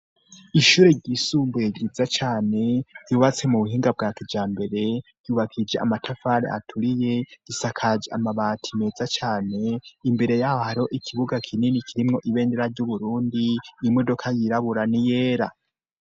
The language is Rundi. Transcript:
Ishure ryisumbuye ryiza cane ryubatse mu buhinga bwa kijambere ryubakishije amatafari aturiye gisakaje amabati meza cane, imbere y'aha hari ikibuga kinini kirimwo ibendera ry'uburundi imodoka yirabura ni yera.